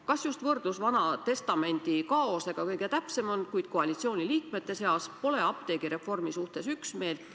Kas võrdlus vana testamendi kaosega just kõige täpsem on, kuid koalitsiooniliikmete seas pole apteegireformi suhtes üksmeelt.